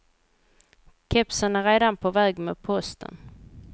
Kepsen är redan på väg med posten.